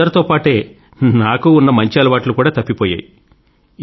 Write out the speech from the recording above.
అలా అందరితో పాటే నాకు ఉన్న మంచి అలవాట్లు కూడా తప్పిపోయాయి